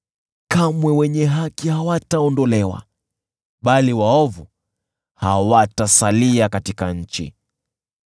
Kamwe wenye haki hawataondolewa, bali waovu hawatasalia katika nchi.